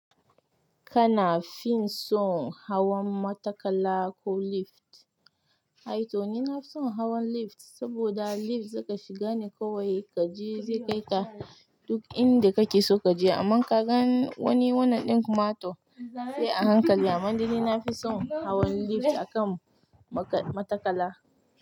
Kana fin son hawan matakala ko lift? Aito ni na fi son hawan lift saboda lift zaka shiga ne kawai kaje zai kai ka duk inda kake so kaje, amma ka gan wani wannan ɗin kumato sai a hankali. Amma daai nina fi son hawan lift akan matakala.